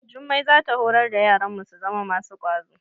Jummai za ta horar da yaranmu su zama masu kwazo.